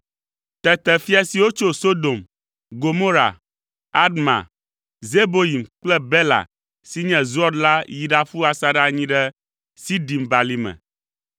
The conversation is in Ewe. Tete fia siwo tso Sodom, Gomora, Adma, Zeboyim kple Bela (si nye Zoar) la yi ɖaƒu asaɖa anyi ɖe Sidim Balime,